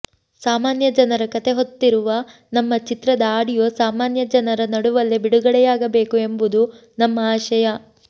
ಸಾಮಾನ್ಯ ಜನರ ಕತೆ ಹೊತ್ತಿರುವ ನಮ್ಮ ಚಿತ್ರದ ಆಡಿಯೋ ಸಾಮಾನ್ಯ ಜನರ ನಡುವಲ್ಲೇ ಬಿಡುಗಡೆಯಾಬೇಕು ಎಂಬುದು ನಮ್ಮ ಆಶಯ